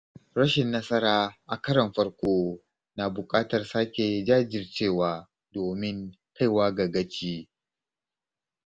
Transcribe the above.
Rashin nasara a karon farko na buƙatar sake jajircewa domin kaiwa ga ci.